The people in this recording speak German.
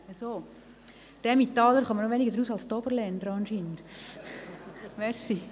– Die Emmentaler scheinen noch weniger zu begreifen als die Oberländer.